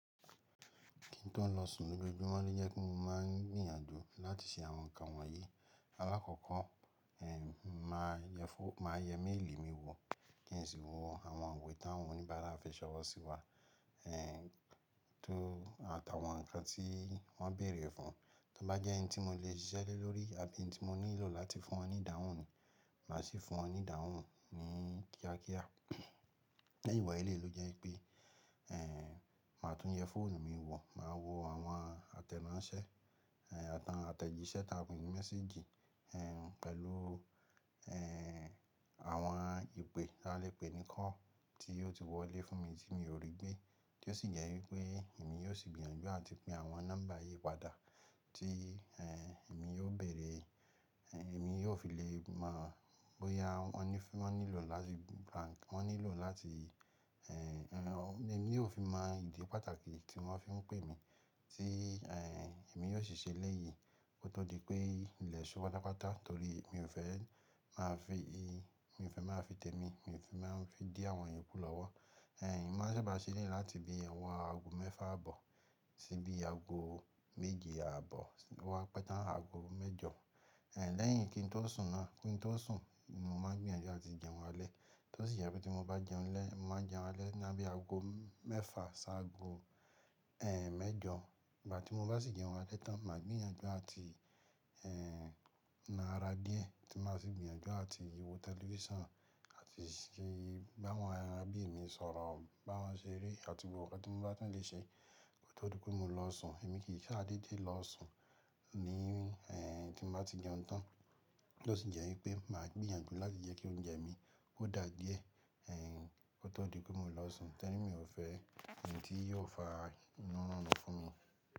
Kí n tó lọ sùn lójoojúmọ́ lo jẹ kí mo máa ń gbìyànjú láti ṣe àwọn ǹkan wọ̀nyí. Alákọ̀ọ́ko, eh, máa yẹ fóònù, máa yẹ méèlì mi wò kí n sì wọ àwọn iwe tá àwọn oníbàárà fi ṣọ̀wọ́ sí wa, eh, tó àtàwọn nǹkan tí wọ́n béèrè fún. Tí ó bá jẹ́ ẹni tí mo lè ṣiṣẹ́ lórí àbí ẹni tí mo nílò láti fún wọn ní ìdáhùn ni, màá sì fún wọn ní ìdáhùn ni kíákíá. Lẹ́yìn wọ̀nyí lè ló jẹ́ pé, eh, màá tún yẹ fóònù mi wò, màá wo àwọn àtẹ̀ránṣẹ́, eh, àtàwọn àtẹ̀jíṣẹ́ táa pè é ní méséjì, eh, pẹ̀lú, eh, àwọn ìpè, a lè pè ní call, tí yóò ti wọlé fún mi tí mi ò rí gbé. Tí ó sì jẹ́ wípé èmi yóò sì gbìyànjú áti pe àwọn nọ́mbà yìí padà tí, eh, èmi yóò bẹ̀rẹ̀, eh, èmi yóò fi lè mọ̀ bóyá wọ́n ní fún, wọ́n nílò láti gba, wọ́n nílò láti, eh, eh, èmi yóò fi mọ ìdí pàtàkì tí wọ́n fi ń pè mí tí, eh, èmi yóò sì ṣe elẹ́yì. Ko tó di pé ilè ṣù pátápátá torí mi ò fẹ́ máa fi i, mi ò fẹ́ máa fi tẹ́mi, mi ò fẹ́ máa ń fi dí àwọn iyokú lọ́wọ́. Eh, momá ṣaba ṣe eleyi láti bi owo ago mẹ́fà àbọ̀ sí bí ago méje àbọ̀ oo wá pẹ̀ tán ago mẹ́jọ. Eh, lẹ́yìn kí n tó sùn náà, kí n tó sùn, mo máa n gbìyànjú láti jẹun alẹ́. Tí ó sì jẹ́ pé tí mo bá jẹun lẹ́, màá jẹun alẹ́ láàbí ago mẹ́fà ṣáago, eh, mẹ́jọ. Ìgbà tí mo bá sì jẹun alẹ́ tán, màá gbìyànjú láti, eh, ná ara díẹ̀ tí màá sì gbìyànjú láti wo tẹlifíṣàn àti ṣé bá àwọn ará bí èmi sọ̀rọ̀, bá wọn ṣeré àti gbogbo nnkan tí mo bá tún lè ṣe kó tó di pé mo lọ sùn. Èmi kì í sa dede lọ sùn ní, eh, tí mo bá ti jẹun tán. Tí ó sì jẹ́ wípé màá gbìyànjú láti jẹ́ kí oúnjẹ mi ó dà díẹ̀, eh, kó tó di pé mo lọ sùn torí mi ò fẹ́ ẹ̀yin tí yóò fa inú rurùn lọ fún mi.